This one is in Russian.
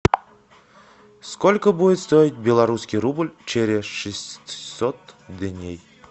сколько будет стоить белорусский рубль через шестьсот дней